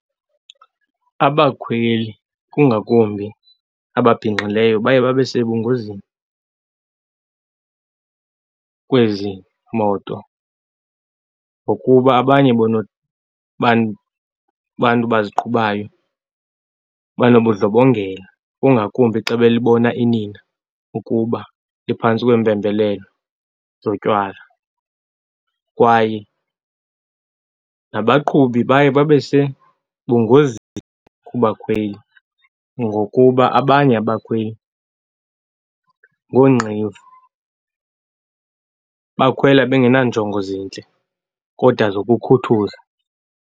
Abakhweli, kungakumbi ababhinqileyo, baye babe sebungozini kwezi moto ngokuba abanye bona bantu baziqhubayo banobundlobongela, kungakumbi xa belibona inina ukuba liphantsi kweempembelelo zotywala. Kwaye nabaqhubi baye babe sebungozi kubakhweli ngokuba abanye abakhweli ngoonqevu. Bakhwela bengenanjongo zintle kodwa zokukhuthuza.